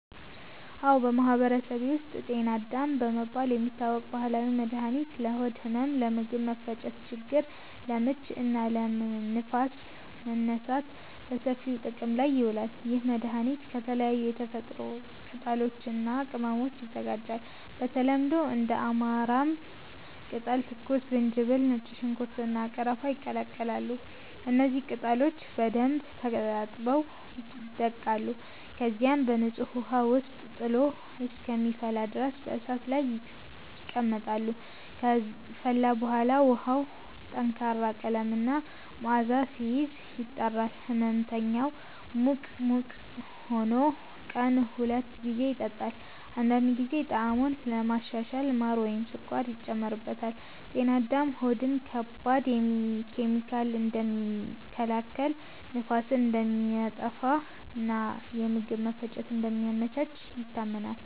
አዎ፣ በማህበረሰቤ ውስጥ “ጤና አዳም” በመባል የሚታወቅ ባህላዊ መድኃኒት ለሆድ ህመም፣ ለምግብ መፈጨት ችግር (ለምች) እና ለንፋስ መነሳት በሰፊው ጥቅም ላይ ይውላል። ይህ መድኃኒት ከተለያዩ የተፈጥሮ ቅጠሎች እና ቅመሞች ይዘጋጃል። በተለምዶ እንደ አማራም ቅጠል፣ ትኩስ ዝንጅብል፣ ነጭ ሽንኩርት፣ እና ቀረፋ ይቀላቀላሉ። እነዚህ ቅጠሎች በደንብ ታጥበው ይደቀቃሉ፣ ከዚያም በንጹህ ውሃ ውስጥ ጥሎ እስከሚፈላ ድረስ በእሳት ላይ ይቀመጣሉ። ከፈላ በኋላ ውሃው ጠንካራ ቀለም እና መዓዛ ሲይዝ፣ ይጣራል። ሕመምተኛው ሙቅ ሙቅ ሆኖ ቀን ሁለት ጊዜ ይጠጣዋል። አንዳንድ ጊዜ ጣዕሙን ለማሻሻል ማር ወይም ስኳር ይጨመርበታል። “ጤና አዳም” ሆድን ከባድ ኬሚካሎች እንደሚከላከል፣ ንፋስን እንደሚያጠፋ እና የምግብ መፈጨትን እንደሚያመቻች ይታመናል።